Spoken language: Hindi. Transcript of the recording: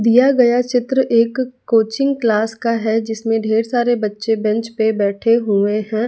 दिया गया चित्र एक कोचिंग क्लास का है जिसमें ढेर सारे बच्चे बेंच पर बैठे हुए हैं।